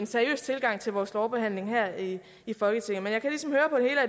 seriøs tilgang til vores lovbehandling her i i folketinget men jeg kan ligesom høre